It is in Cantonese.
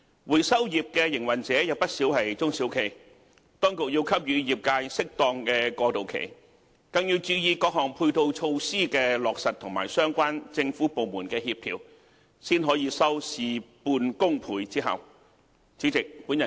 回收業營運者有不少是中小企，當局要給予業界適當的過渡期，更要注意各項配套措施的落實和相關政府部門的協調，才可以收事半功倍之效。